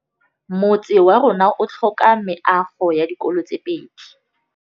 Motse warona o tlhoka meago ya dikolô tse pedi.